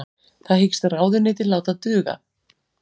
Það hyggst ráðuneytið láta duga